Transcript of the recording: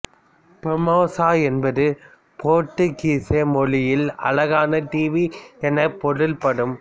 Formosa என்பது போர்த்துகீச மொழியில் அழகான தீவு எனப் பொருள்படும்